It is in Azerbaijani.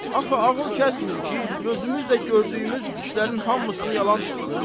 Axı ağıl kəsmir ki, gözümüz də gördüyümüz işlərin hamısını yalan çıxsın.